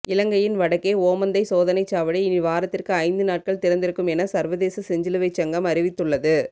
இலங்கையின் வடக்கே ஓமந்தை சோதனைச் சாவடி இனி வாரத்திற்கு ஐந்து நாட்கள் திறந்திருக்கும் என சர்வதேச செஞ்சிலுவைச் சங்கம் அறிவித்துள்ளது